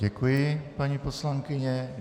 Děkuji, paní poslankyně.